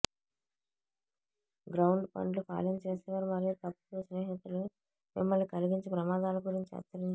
ground పండ్లు fallen చేసేవారు మరియు తప్పుడు స్నేహితులు మిమ్మల్ని కలిగించు ప్రమాదాల గురించి హెచ్చరించారు